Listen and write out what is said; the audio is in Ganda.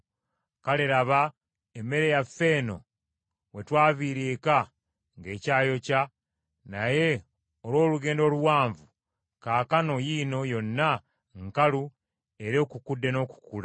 Kale laba emmere yaffe eno we twaviira eka ng’ekyayokya naye olw’olugendo oluwanvu kaakano yiino yonna nkalu era ekukudde n’okukula.